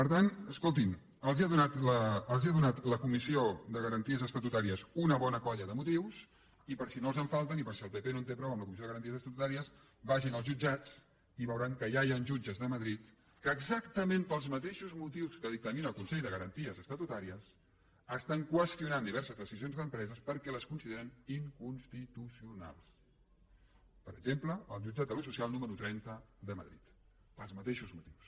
per tant escoltin els ha donat la comissió de garanties estatutàries una bona colla de motius i per si no els en falten i per si el pp no en té prou amb la comissió de garanties estatutàries vagin als jutjats i veuran que ja hi han jutges de madrid que exactament pels mateixos motius que dictamina el consell de garanties estatutàries estan qüestionant diverses decisions d’empreses perquè les consideren inconstitucionalsper exemple el jutjat social número trenta de madrid pels mateixos motius